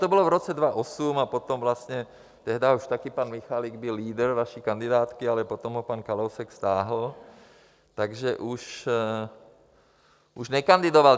To bylo v roce 2008 a potom vlastně tehdy už také pan Michalik byl lídr vaší kandidátky, ale potom ho pan Kalousek stáhl, takže už nekandidoval.